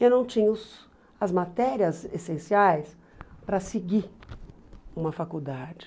Eu não tinha os as matérias essenciais para seguir uma faculdade.